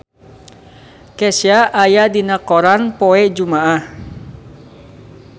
Kesha aya dina koran poe Jumaah